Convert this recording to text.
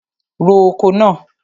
Ro oko náà!